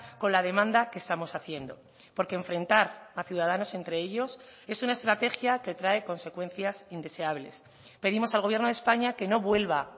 con la demanda que estamos haciendo porque enfrentar a ciudadanos entre ellos es una estrategia que trae consecuencias indeseables pedimos al gobierno de españa que no vuelva